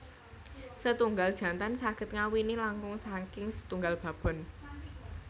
Setunggal jantan saged ngawini langkung saking setunggal babon